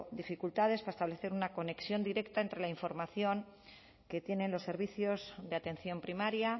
dificultades para establecer una conexión directa entre la información que tienen los servicios de atención primaria